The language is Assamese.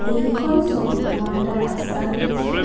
এইখন ছবিত মই এটা ৰাস্তা দেখিছোঁ.